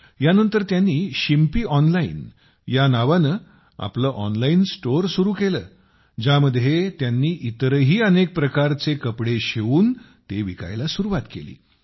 यानंतर त्यांनी Shimpi tailor online नावाने आपले ऑनलाइन स्टोअर सुरू केले ज्यामध्ये त्यांनी इतरही अनेक प्रकारचे कपडे शिवून विकण्यास सुरुवात केली